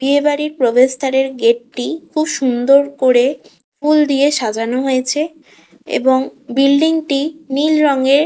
বিয়ে বাড়ির প্রবেশ দ্বারের গেট -টি খুব সুন্দর করে ফুল দিয়ে সাজানো হয়েছে এবং বিল্ডিং -টি নীল রঙের।